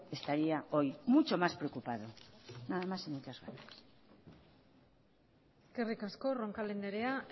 estaría hoy muchos más preocupado nada más y muchas gracias eskerrik asko roncal andrea